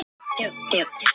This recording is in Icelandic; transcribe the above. Síðan varð allt autt.